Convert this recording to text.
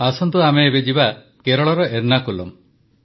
ଆସନ୍ତୁ ଆମେ ଏବେ ଯିବା କେରଳର ଏର୍ନାକୁଲମ୍